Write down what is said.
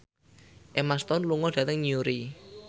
Emma Stone lunga dhateng Newry